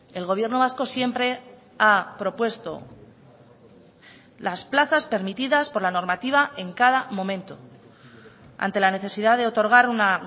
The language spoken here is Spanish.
el gobierno vasco siempre ha propuesto las plazas permitidas por la normativa en cada momento ante la necesidad de otorgar una